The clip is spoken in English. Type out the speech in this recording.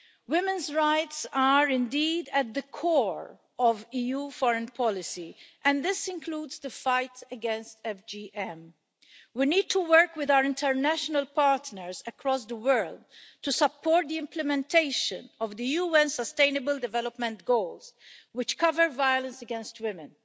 Women's rights are indeed at the core of EU foreign policy, and this includes the fight against FGM. We need to work with our international partners across the world to support the implementation of the UN sustainable development goals, which cover violence against women.